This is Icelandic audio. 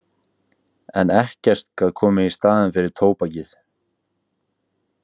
En ekkert gat komið í staðinn fyrir tóbakið.